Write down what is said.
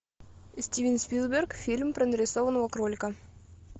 стивен спилберг фильм про нарисованного кролика